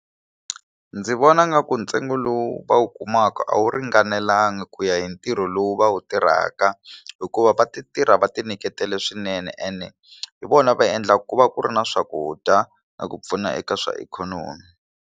Ndzi vona nga ku ntsengo lowu va wu kumaka a wu ringanelanga ku ya hi ntirho lowu va wu tirhaka hikuva va ti tirha va ti nyiketele swinene ene hi vona va endla ku va ku ri na swakudya na ku pfuna eka swa ikhonomi.